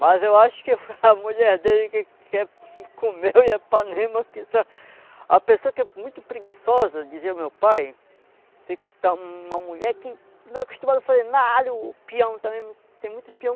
Mas eu acho que foi a mulher dele que que comeu e é panema que está... A pessoa que é muito preguiçosa, dizia o meu pai, se está uma mulher que não é acostumada a fazer nada, o peão também, tem muito peão